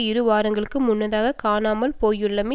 இரு வாரங்களுக்கு முன்னதாக காணாமல் போயுள்ளமை